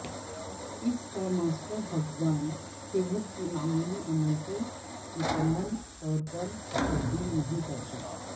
اس کا ماسٹر حفظان صحت کی معمولی عمل کو مکمل طور پر تبدیل نہیں کرتا